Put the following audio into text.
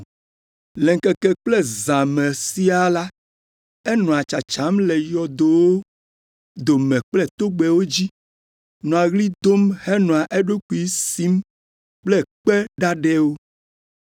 Le ŋkeke kple zã me siaa la, enɔa tsatsam le yɔdowo dome kple togbɛwo dzi, nɔa ɣli dom henɔa eɖokui sim kple kpe ɖaɖɛwo.